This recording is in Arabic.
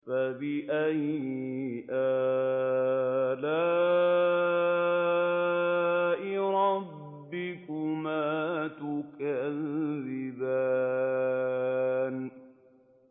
فَبِأَيِّ آلَاءِ رَبِّكُمَا تُكَذِّبَانِ